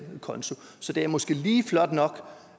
konto det er måske lige flot nok